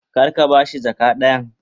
Kar ka ba shi jaka dayan.